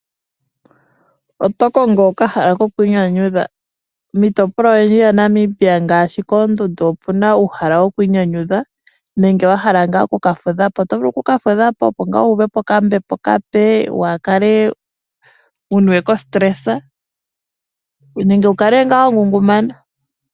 Oto kongo okahala kokwii nyanyudha? Miitopolwa oyindji yaNamibia ngaashi koondundu opu na uuhala wokwii nyanyudha, nenge wa hala ngaa oku ka fudha po. Oto vulu oku fudha opo ngaa wu uve po okambepo okape waa kale wu niwe kositelesa nenge wu kale ngaa wangungumana.